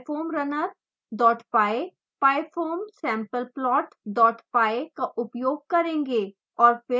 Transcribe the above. हम – pyfoamrunner dot py pyfoamsampleplot dot py का उपयोग करेंगे